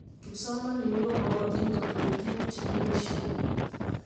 kipsomaninik komokotin kotinyei tukuk chekibaishe